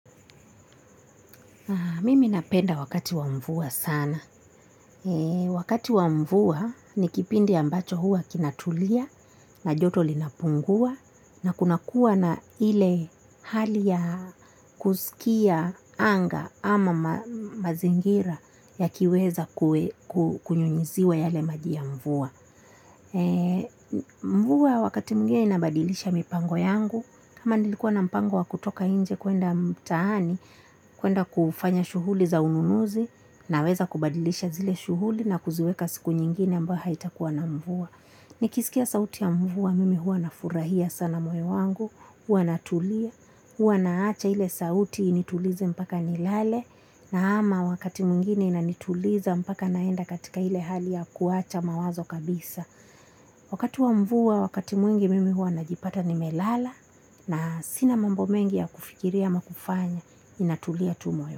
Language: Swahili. Mimi napenda wakati wa mvua sana. Wakati wa mvua ni kipindi ambacho huwa kinatulia na joto linapungua na kuna kuwa na ile hali ya kusikia anga ama mazingira yakiweza kunyunyuziwa yale maji ya mvua. Mvua wakati mwingine inabadilisha mipango yangu. Kama nilikuwa na mpango wa kutoka nje kuenda mtaani kuenda kufanya shughuli za ununuzi naweza kubadilisha zile shughuli na kuziweka siku nyingine ambayo haitakuwa na mvua. Nikisikia sauti ya mvua mimi huwa nafurahia sana moyo wangu. Huwa natulia, huwa naacha ile sauti initulize mpaka nilale. Na ama wakati mwingine inanituliza mpaka naenda katika ile hali ya kuacha mawazo kabisa. Wakati wa mvua, wakati mwingi mimi huwa najipata nimelala. Na sina mambo mengi ya kufikiria ama kufanya ninatulia tu moyo.